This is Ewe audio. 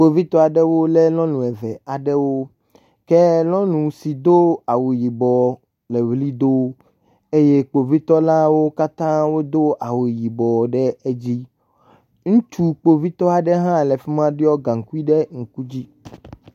Kpovitɔ aɖewo lé nyɔnu eve aɖewo ke nyɔnu si ke do awu yibɔ la le ewli do eye kpovitɔlawo katã do awu yibɔ ɖe edzi. Ŋutsu kpovitɔ aɖe hã le afi ma ɖɔ gaŋkui ɖe edzi.